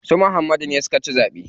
Su Muhammadu ne suka ci zaɓe.